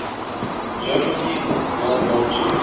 german people of world war ii